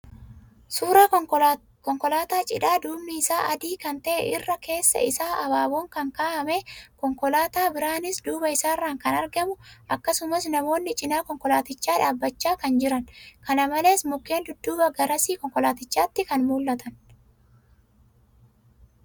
Suuraa Konkolaataa cidhaa duubni isaa adii kan ta'e, irra keessa isaa habaaboon kan kaawwame, Konkolaataa biraanis duuba isaarraan kan argamu akkasumas namoonni cinaa Konkolaatichaa dhaabachaa kan jiran. Kana malees mukeen dudduuba garasii Konkolaatichaatti kan mul'atan.